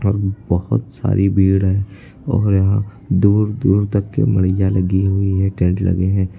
बहुत सारी भीड़ है और यहां दूर दूर तक की लगी हुई है टेंट लगे हैं।